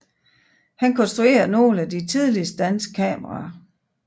Han konstruerede nogle af de tidligste danske kameraer